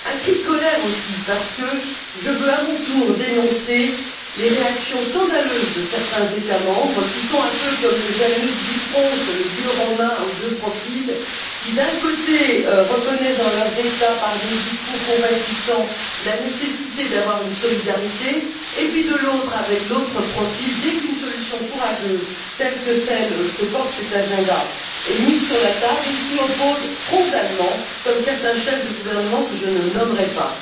Un cri de colère aussi parce que je veux, à mon tour, dénoncer les réactions scandaleuses de certains États membres qui sont un peu comme le Janus bifront, le dieu romain aux deux profils, qui, d'un côté, reconnaissent dans leurs États, par des discours compatissants, la nécessité de la solidarité et qui, de l'autre, avec l'autre profil, dès qu'une solution courageuse telle que celle que porte ce programme est mise sur la table, s'y opposent frontalement, comme certains chefs de gouvernement que je ne nommerai pas.